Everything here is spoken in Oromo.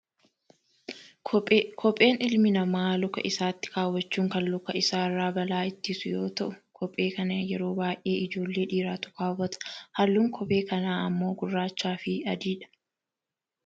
Kophee, kopheen ilmi namaa luka isaatti kaawwachuun kan luka isaa irraa balaa ittisu yoo ta'u kophee kana yeroo baayyee ijoollee dhiiraatu kaawwata. Halluun kophee kanaa ammoo girraachaa fi adii dha.